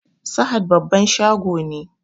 Sahad babban shago ne